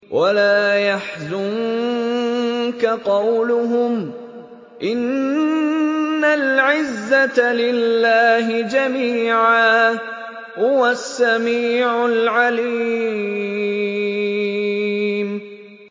وَلَا يَحْزُنكَ قَوْلُهُمْ ۘ إِنَّ الْعِزَّةَ لِلَّهِ جَمِيعًا ۚ هُوَ السَّمِيعُ الْعَلِيمُ